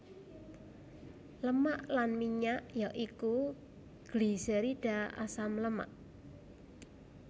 Lemak lan minyak ya iku gliserida asam lemak